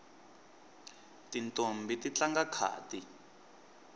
tintombhi ti tlanga khadi